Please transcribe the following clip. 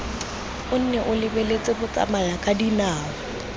o nne o lebeletse batsamayakadinao